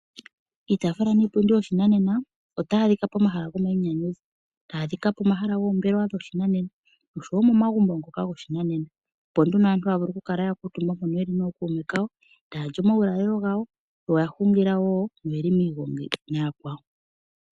Iitafula niipundi yoshinanena otayi adhika pomahala gomainyanyudho, tayi adhika pomahala goombelewa dhoshinanena noshowo momagumbo ngono goshinanena, opo nduno aantu haya kala ya kuutumba mpono ye li nookuume kawo, taya lyi omaulalelo gawo. Yo oya hungila wo, yo oye li miigongi naakwawo.